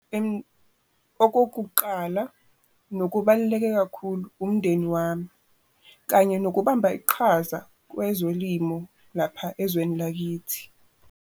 Okokuqala nokubaluleke kakhulu umndeni wami, kanye nokubamba iqhaza kwezolimo lapha ezweni lakithi.